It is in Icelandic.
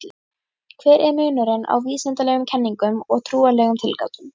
Hver er munurinn á vísindalegum kenningum og trúarlegum tilgátum?